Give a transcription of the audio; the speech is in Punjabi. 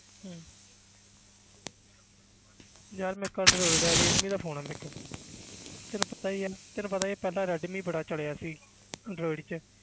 ਹਮ ਯਾਰ ਮੇਰੇ ਕੋਲ android ਹੈ ਰੈਡਮੀ ਦਾ phone ਹੈ ਮੇਰੇ ਕੋਲ ਤੈਨੂੰ ਪਤਾ ਹੀ ਹੈ ਤੈਨੂੰ ਪਤਾ ਹੀ ਹੈ ਪਹਿਲਾਂ ਰੈਡਮੀ ਬੜਾ ਚੜ੍ਹਿਆ ਸੀ android 'ਚ